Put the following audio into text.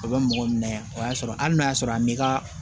O bɛ mɔgɔ minɛ o y'a sɔrɔ hali n'a y'a sɔrɔ a m'i ka